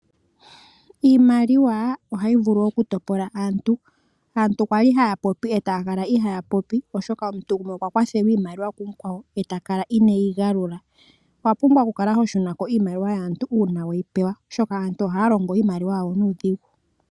Iimaliwa ohayi vulu oku topola aantu. Aantu kwa li ha ya popi e ta ya kala ihaya popi oshoka omuntu gontumba okwa kwathelwa iimaliwa ihe ta kala inee yi shunitha. Owa pumbwa oku shuna ko iimaliwa yaantu uuna we yi pewa, oshoka aantu ohaya longo iimaliwa yawo nuudhigu.